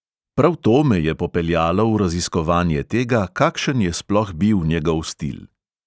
Prav to me je popeljalo v raziskovanje tega, kakšen je sploh bil njegov stil.